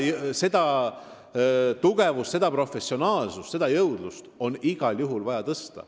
Seda tugevust, seda professionaalsust ja seda jõudlust on igal juhul vaja tõsta.